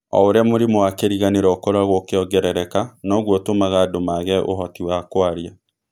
O ũrĩa mũrimũ wa kĩriganĩro ũkoragũo ũkĩongerereka, noguo ũtũmaga andũ maage ũhoti wa kwaria.